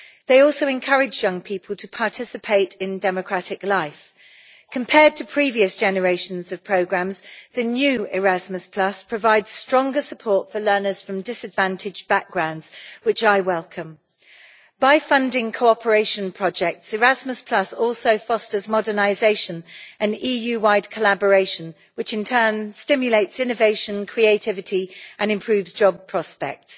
They also encourage young people to participate in democratic life. Compared to previous generations of programmes, the new Erasmus provides stronger support for learners from disadvantaged backgrounds, which I welcome. By funding cooperation projects, Erasmus also fosters modernisation and EU wide collaboration, which in turn stimulate innovation, creativity and improved job prospects.